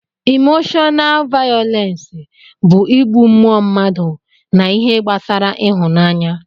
Imoshọnaal vayọlensi bụ ịgbụ mmụọ mmadụ na ihe gbasara ịhụnaanya